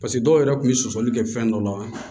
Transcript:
paseke dɔw yɛrɛ kun be sɔsɔli kɛ fɛn dɔ la